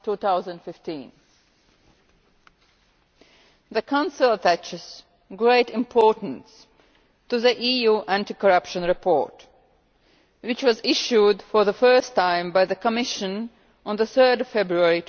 2015. The Council attaches great importance to the EU Anti Corruption Report, which was issued for the first time by the Commission on 3 February